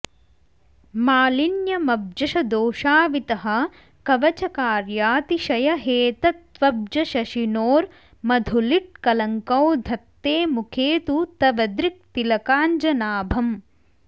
मालिन्यमब्जश दोषावितः कवचकार्यातिशयहेतत्त्वब्जशशिनोर्मधुलिट्कलङ्कौ धत्ते मुखे तु तव दृक् तिलकाञ्जनाभम्